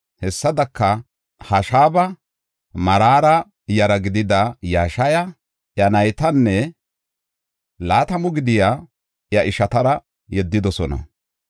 Hessadaka, Hashaba, Maraara yara gidida Yashaya, iya naytanne laatamu gidiya iya ishatara yeddidosona.